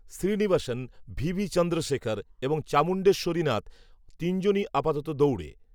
Srinivasan, VB Chandrasekhar, এবং চামুণ্ডেশ্বরীনাথ, তিনজনই, আপাতত দৌড়ে